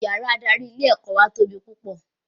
Yàrá adarí ilé ẹ̀kọ́ wà tóbi púpọ̀